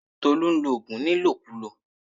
Tolú nlo ògùn ní ìlòkulò